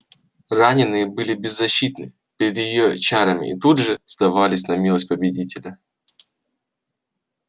раненые были беззащитны перед её чарами и тут же сдавались на милость победителя